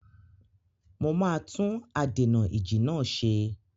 Mo máa tún adènà-ìjì náà ṣe.